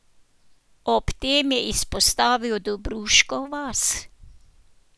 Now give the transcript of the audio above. Ob tem je izpostavil Dobruško vas.